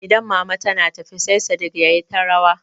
Idan mama tana tafi sai Sadik yayi ta rawa.